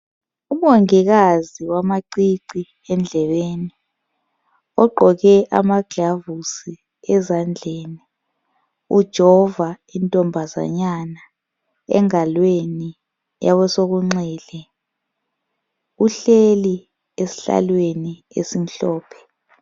UMongikazi wamacici endlebeni ogqoke ama gilavuzi ezandleni ujova intombazanyana engalweni yakwe sokunxele uhleli esihlalweni esimhlophe.